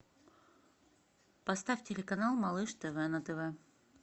поставь телеканал малыш тв на тв